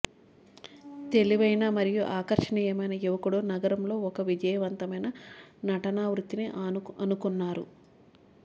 తెలివైన మరియు ఆకర్షణీయమైన యువకుడు నగరంలో ఒక విజయవంతమైన నటనా వృత్తిని అనుకున్నారు